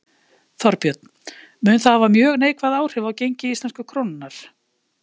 Þorbjörn: Mun það hafa mjög neikvæð áhrif á gengi íslensku krónunnar?